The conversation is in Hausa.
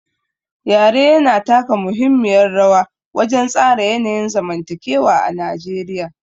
Yare yana taka muhimmiyar rawa wajen tsara yanayin zamantakewa a Najeriya.